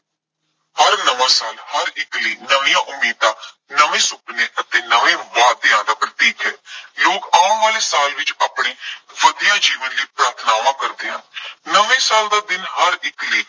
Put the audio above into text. ਹਰ ਨਵਾਂ ਸਾਲ ਹਰ ਇੱਕ ਲਈ ਨਵੀਆਂ ਉਮੀਦਾਂ, ਨਵੇਂ ਸੁਪਨੇ ਅਤੇ ਨਵੇਂ ਵਾਅਦਿਆਂ ਦਾ ਪ੍ਰਤੀਕ ਹੈ। ਲੋਕ ਆਉਣ ਵਾਲੇ ਸਾਲ ਵਿੱਚ ਆਪਣੀ ਵਧੀਆ ਜੀਵਨ ਲਈ ਪ੍ਰਾਰਥਨਾਵਾਂ ਕਰਦੇ ਹਨ। ਨਵੇਂ ਸਾਲ ਦਾ ਦਿਨ ਹਰ ਇੱਕ ਲਈ